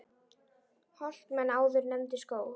Holt menn áður nefndu skóg.